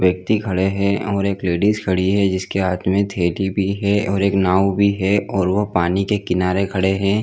व्यक्ति खड़े है और एक लेडीज खड़ी है जिसके हाथ में थेली भी है और एक नाव भी है और वो पानी के किनारे खड़े है।